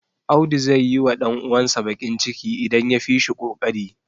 Audu zai yiwa ɗan uwansa baƙin ciki, idan ya fi shi ƙoƙari.